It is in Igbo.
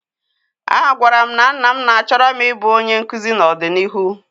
A gwara m nna m na-achọro m I bụ onye nkụzi ná-ọdịnihu.